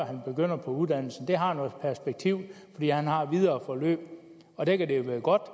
han begynder på uddannelsen det har noget perspektiv fordi han har et videre forløb og der kan det jo være godt